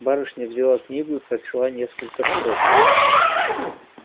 барышня взяла книгу и прочла несколько строк